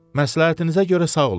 Məsləhətinizə görə sağ olun.